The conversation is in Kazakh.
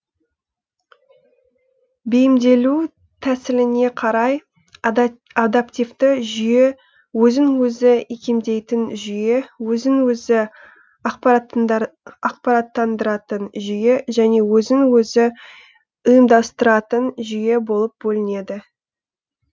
бейімделу тәсіліне қарай адаптивті жүйе өзін өзі икемдейтін жүйе өзін өзі ақпараттандыратын жүйе және өзін өзі ұйымдастыратын жүйе болып бөлінеді